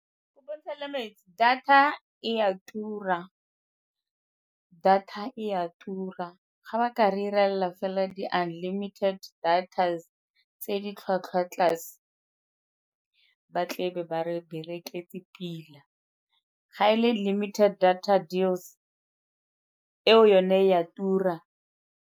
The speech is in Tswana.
Data e a tura, data e a tura. Ga ba ka re 'rela fela di-unlimited datas tse di tlhwatlhwa tlase ba tlebe ba re bereketse pila, ga e le limited data deals eo yone e a tura.